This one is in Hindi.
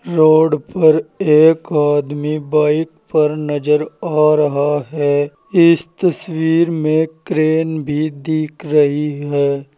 रोड पर एक आदमी बाइक पर नजर आ रहा है इस तस्वीर में क्रेन भी दिख रही है।